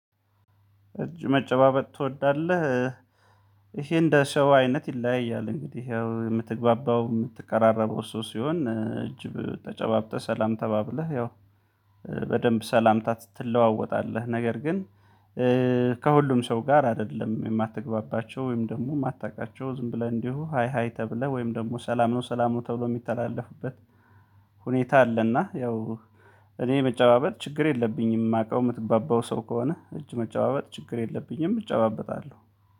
እጅ መጨባበጥ ትወዳለህ? ይሄ እንደ ሰው አይነት ይለያያል እንግዲህ ያው የምትግባባው የምትቀራረበው ሰው ሲሆን እጅ ተጨባብጠህ ሰላም ተባብለህ ያው በደንብ ሰላምታ ትለዋወጣለህ ነገር ግን ከሁሉም ሰው ጋር አይደለም የማትግባባቸው ወይም ደግሞ የማታውቃቸው ዝም ብለህ እንዲሁ ሃይ ሃይ ተብለህ ወይም ደግሞ ሰላም ነው ፥ሰላም ነው ተብሎ የሚተላለፍበት ሁኔታ አለና ያው እኔ መጨባበጥ ችግር የለብኝም። የማውቀው የምትግባባው ሰው ከሆነ እጅ መጨባበጥ ችግር የለብኝም እጨባበጣለሁ።